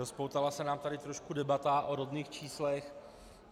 Rozpoutala se nám tady trošku debata o rodných číslech.